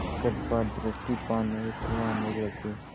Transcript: कृपा दृष्टि पाने हेतु आने लगे